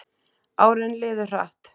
Árin liðu hratt.